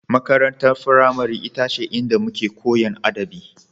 Makarantar firamare ita ce inda muke Koyan adabi